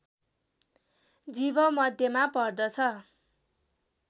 जीवमध्येमा पर्दछ